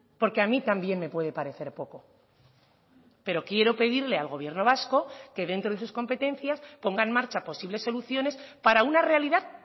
porque a mí también me puede parecer poco pero quiero pedirle al gobierno vasco que dentro de sus competencias ponga en marcha posibles soluciones para una realidad